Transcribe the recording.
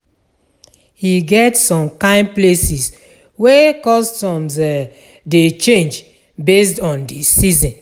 E get som kain places wey customs um dey change based on de season